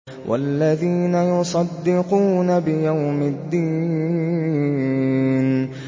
وَالَّذِينَ يُصَدِّقُونَ بِيَوْمِ الدِّينِ